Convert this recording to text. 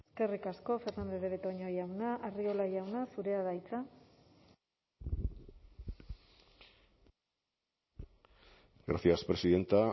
eskerrik asko fernandez de betoño jauna arriola jauna zurea da hitza gracias presidenta